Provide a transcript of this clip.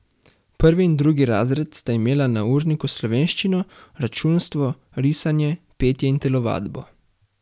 Prvi in drugi razred sta imela na urniku slovenščino, računstvo, risanje, petje in telovadbo.